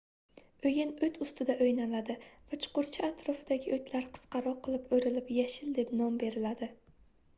oʻyin oʻt ustida oʻynaladi va chuqurcha atrofidagi oʻtlar qisqaroq qilib oʻrilib yashil deb nom beriladi